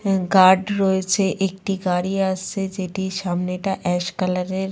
অ্যা অ্যা গার্ড রয়েছে একটি গাড়ি আসছে যেটির সামনেটা অ্যাশ কালার এর।